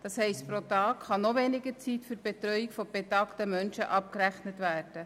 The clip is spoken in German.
Das heisst, pro Tag kann noch weniger Zeit für die Betreuung betagter Menschen abgerechnet werden.